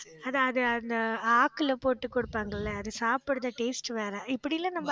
அது, அது அந்த ஆக்குல போட்டு கொடுப்பாங்கல்ல அது சாப்பிடுற taste வேற இப்படி எல்லாம் நம்ம